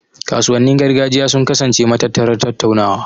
Kasuwannin gargajiya sun kasance matattarar tattaunawa.